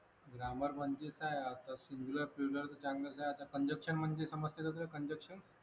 grammar म्हणजे काय आता तर चांगलंच आहे आता congection म्हणजे समजते का तुला congection